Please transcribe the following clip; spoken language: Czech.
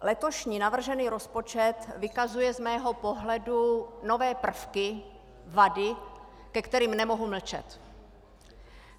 Letošní navržený rozpočet vykazuje z mého pohledu nové prvky, vady, ke kterým nemohu mlčet.